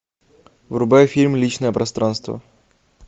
врубай фильм личное пространство